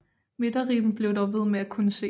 Midterribben bliver dog ved med at kunne ses